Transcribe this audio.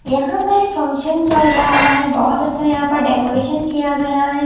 यहां पर एक फंक्शन चल रहा है बहुत अच्छा यहां पर डेकोरेशन किया गया है।